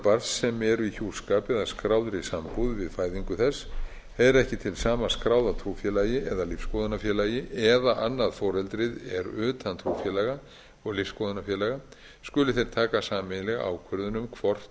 barns sem eru í hjúskap eða skráðri sambúð við fæðingu þess heyra ekki til sama skráða trúfélagi eða lífsskoðunarfélagi eða annað foreldrið er utan trúfélaga og lífsskoðunarfélaga skuli þeir taka sameiginlega ákvörðun um hvort